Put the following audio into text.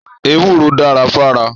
Èwúrò dà fà rà